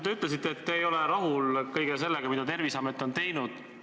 Te ütlesite, et te ei ole rahul kõigega, mida Terviseamet on teinud.